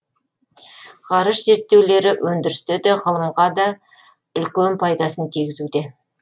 ғарыш зерттеулері өндірісте де ғылымға да үлкен пайдасын тигізуде